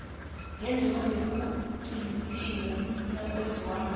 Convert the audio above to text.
njengoba bekuquntiwe nakwenziwako